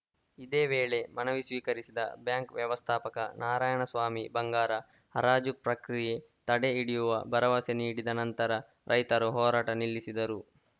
ಇದೇ ವೇಳೆ ಮನವಿ ಸ್ವೀಕರಿಸಿದ ಬ್ಯಾಂಕ್‌ ವ್ಯವಸ್ಥಾಪಕ ನಾರಾಯಣ ಸ್ವಾಮಿ ಬಂಗಾರ ಹರಾಜು ಪ್ರಕ್ರಿಯೆ ತಡೆ ಹಿಡಿಯುವ ಭರವಸೆ ನೀಡಿದ ನಂತರ ರೈತರು ಹೋರಾಟ ನಿಲ್ಲಿಸಿದರು